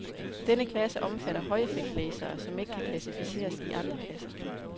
Denne klasse omfatter højeffekt-lasere, som ikke kan klassificeres i andre klasser.